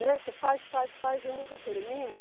Né. Você faz, faz, faz e nunca termina.